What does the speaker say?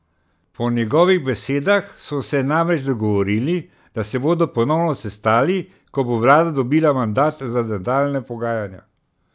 Po njegovih besedah so se namreč dogovorili, da se bodo ponovno sestali, ko bo vlada dobila mandat za nadaljnja pogajanja.